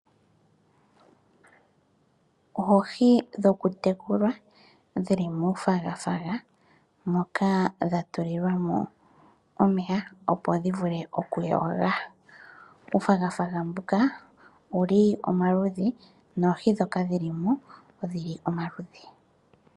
Oohi dhokutekulwa dhi li muufwagafwaga moka dha tulilwa mo omeya opo dhivule okuyoga. Uufwagafwaga mbuka owuli omaludhi noohi ndhoka dhili mo odhili omaludhi.